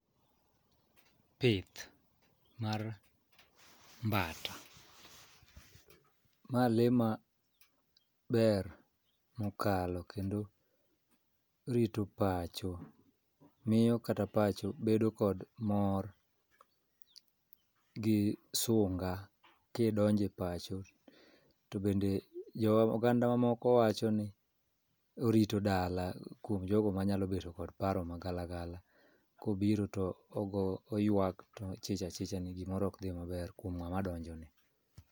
Pith mar mbata. Ma lee ma ber mokalo kendo rito pacho miyo kata pacho bedo kod mor gi sunga kidonje pacho to bende jo ogandawa moko wacho ni orito dala kuom jogo manyalo bedo kod paro magalagala kobiro to oyuak to ichich achicha ni gimoro okdhi maber kuom ng'ama donjo ni.